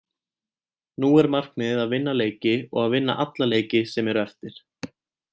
Nú er markmiðið að vinna leiki og að vinna alla leiki sem eru eftir.